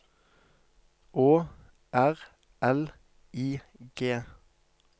Å R L I G